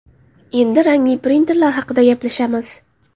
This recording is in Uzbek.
Endi rangli printerlar haqida gaplashamiz.